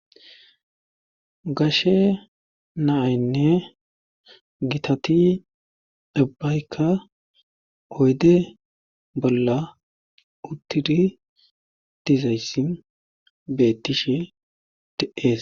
gashe naaynne gitati dibbaykka oyde bolla uttiri dizayssin beettishe de7ees